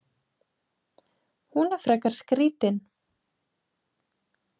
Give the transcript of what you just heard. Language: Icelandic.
Hún er frekar skrítin.